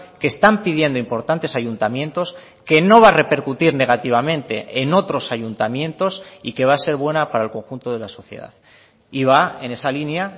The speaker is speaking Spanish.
que están pidiendo importantes ayuntamientos que no va a repercutir negativamente en otros ayuntamientos y que va a ser buena para el conjunto de la sociedad y va en esa línea